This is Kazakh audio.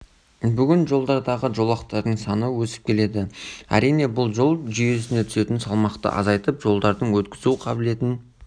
бүгін жолдардағы жолақтардың саны өсіп келеді әрине бұл жол жүйесіне түсетін салмақты азайтып жолдардың өткізу қабілетін